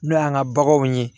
N'o y'an ka baganw ye